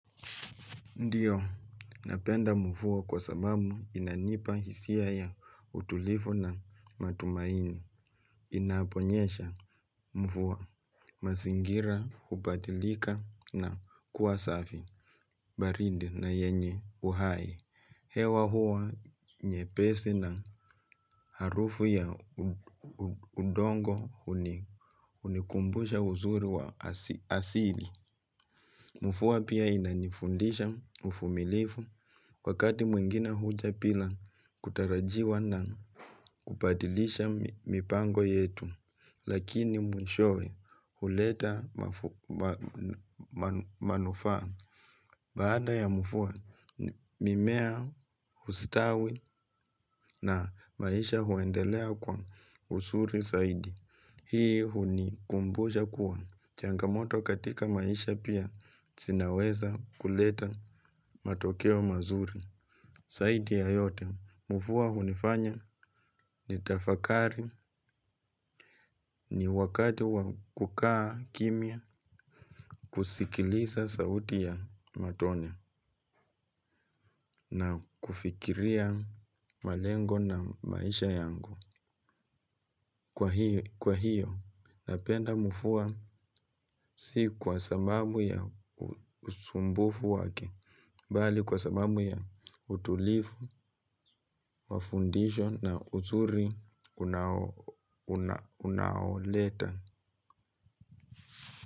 Ndiyo, napenda mvua kwa sababu inanipa hisia ya utulivu na matumaini, inaponyesha mvua, mazingira, hubadilika na kuwa safi, barinde na yenye uhai, hewa huwa nyepesi na harufu ya udongo unikumbusha uzuri wa asili. Mvua pia ina inanifundisha uvumilivu, wakati mwingine huja bila kutarajiwa na kubadilisha mipango yetu, lakini mwishowe huleta manufaa. Baada ya mvua, mimea usitawi na maisha huendelea kwa uzuri zaidi. Hii hunikumbusha kuwa. Changamoto katika maisha pia zinaweza kuleta matokeo mazuri. Zaidi ya yote, mvua hunifanya nitafakari ni wakati wa kukaa kimya, kusikiliza sauti ya matone na kufikiria malengo na maisha yangu. Kwa hiyo, napenda mvua si kwa sababu ya usumbufu wake, bali kwa sababu ya utulivu, wafundisho na uzuri unaoleta.